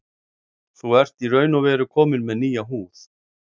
Þú ert í raun og veru kominn með nýja húð.